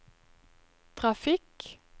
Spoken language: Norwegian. trafikk